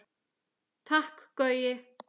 Takk Gaui.